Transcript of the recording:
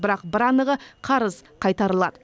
бірақ бір анығы қарыз қайтарылады